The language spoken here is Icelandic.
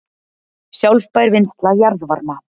Sjálfbær vinnsla jarðvarma